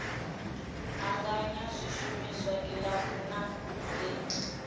anganya zwishumiswa kilabu na hoea